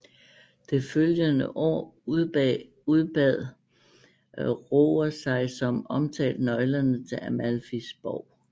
Det følgende år udbad Roger sig som omtalt nøglerne til Amalfis borg